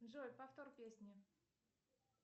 джой повтор песни